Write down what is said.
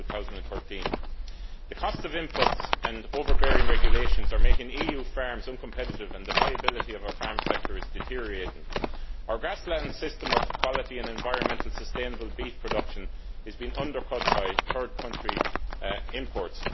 2013. The costs of inputs and overbearing regulations are making EU farms uncompetitive and the viability of our farm sector is deteriorating. Our grassland system of quality and environmentally sustainable beef production is being undercut by third country imports.